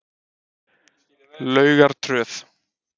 Laugartröð